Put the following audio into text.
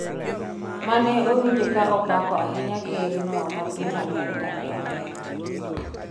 mane owinje ka opako ahinya kerno ma piny Amerka ni ohere